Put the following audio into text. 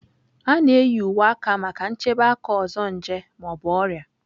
A na-eyi uwe aka maka nchebe aka ọzọ nje ma ọ bụ ọrịa.